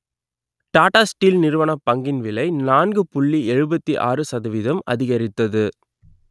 Tata steel நிறுவனப் பங்கின் விலை நான்கு புள்ளி எழுபத்தி ஆறு சதவீதம் அதிகரித்தது